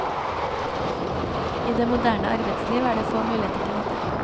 I det moderne arbeidsliv er det få muligheter til dette.